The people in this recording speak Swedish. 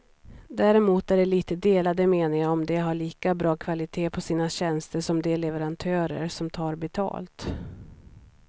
Däremot är det lite delade meningar om de har lika bra kvalitet på sina tjänster som de leverantörer som tar betalt.